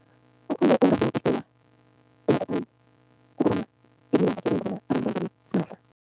Okhunye kukobana simahla.